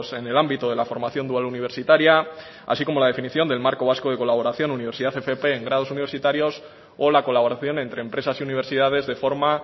en el ámbito de la formación dual universitaria así como la definición del marco vasco de colaboración universidad fp en grados universitarios o la colaboración entre empresas y universidades de forma